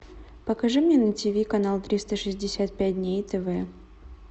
покажи мне на ти ви канал триста шестьдесят пять дней тв